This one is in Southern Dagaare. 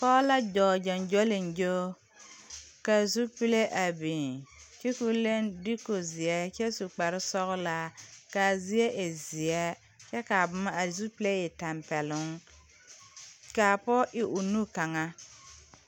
Pɔɔ la dɔɔ gyoŋgyoliŋgyo ka zupile a biŋ kyɛ koo leŋ duuku zeɛ kyɛ su kparesɔglaa kaa zie e zeɛ kyɛ kaa boma a zupile e tampeɛloŋ kaa pɔge iri o nu kaŋa.